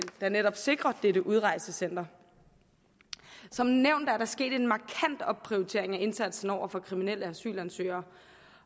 der netop sikrer dette udrejsecenter som nævnt er der sket en markant opprioritering af indsatsen over for kriminelle asylansøgere